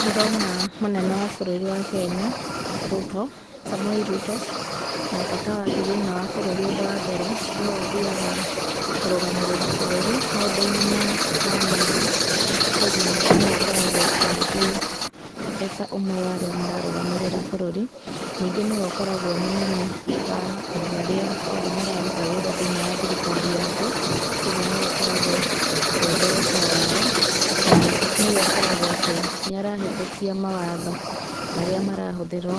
Ndĩrona mũnene wa bũrũri wa Kenya, Ruto, Samoei Ruto, na bata wake thĩiniĩ wa bũrũri ũndũ wa mbere, nĩwe ũthiaga kũrũgamĩrĩra bũrũri, maũndũ-inĩ ma ma na nja. Koguo nĩwe ũkoragwo agĩthiĩ eta ũmwe wa arĩa mararũgamĩrĩra bũrũri. Ningĩ nĩwe akoragwo e mũnene wa andũ arĩa othe mararuta wĩra thĩiniĩ wa thirikari yake, koguo nĩwe ũkoragwo e ndereba wao. Na, nĩwe ũkoragwo atĩ nĩ arahetũkia mawatho marĩa marahũthĩrwo